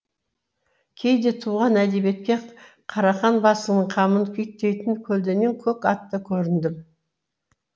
кейде туған әдебиетке қарақан басының қамын күйттейтін көлденең көк атты көріндім